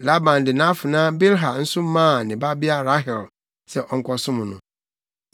Laban de nʼafenaa Bilha nso maa ne babea Rahel sɛ ɔnkɔsom no.